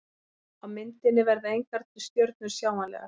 Á myndinni verða engar stjörnur sjáanlegar.